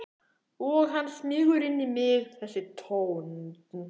Og hann smýgur inn í mig þessi tónn.